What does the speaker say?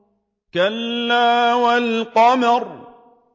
كَلَّا وَالْقَمَرِ